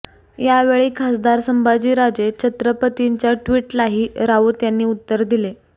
यावेळी खासदार संभाजीराजे छत्रपतींच्या ट्विटलाही राऊत यांनी उत्तर दिले